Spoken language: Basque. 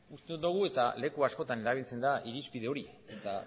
uste dogu eta leku askotan erabiltzen da irizpide hori eta